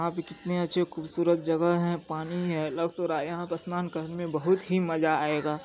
यहाँ पे कितनी अच्छी खूबसूरत जगह है पानी है लग तो रहा है यहाँ पर स्नान करने में बहुत ही मजा आएगा।